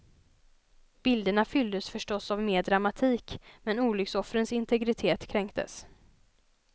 Bilderna fylldes förstås av mer dramatik, men olycksoffrens integritet kränktes.